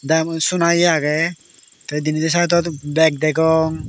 te mui sona ye agey te denendi sidot beg degong.